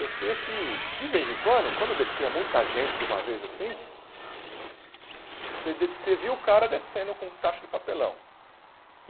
Eu sei é que, de vez em quando, quando descia muita gente de uma vez assim, você des você via o cara descendo com caixa de papelão.